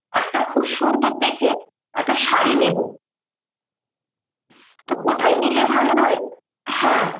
একটা খুব সুন্দর দেখে একটা শাড়ী নেবো। তো কোথায় নিলে ভালো হয়? হ্যাঁ